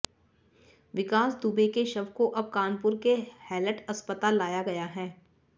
विकास दुबे के शव को अब कानपुर के हैलट अस्पताल लाया गया है